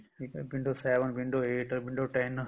ਠੀਕ ਆ window seven window eight window ten